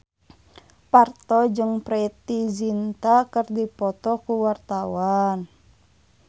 Parto jeung Preity Zinta keur dipoto ku wartawan